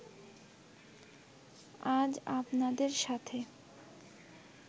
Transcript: আজ আপনাদের সাথে